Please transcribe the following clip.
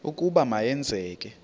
ukuba ma yenzeke